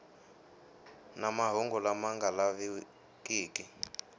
na mahungu lama nga lavikiki